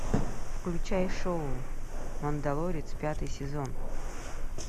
включай шоу мандалорец пятый сезон